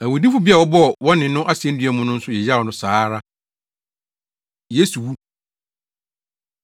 Awudifo bi a wɔbɔɔ wɔne no asennua mu no nso yeyaw no saa ara. Yesu Wu